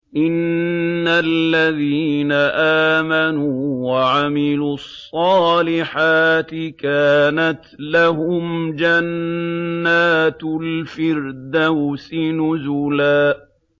إِنَّ الَّذِينَ آمَنُوا وَعَمِلُوا الصَّالِحَاتِ كَانَتْ لَهُمْ جَنَّاتُ الْفِرْدَوْسِ نُزُلًا